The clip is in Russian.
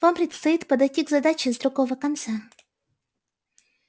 вам предстоит подойти к задаче с другого конца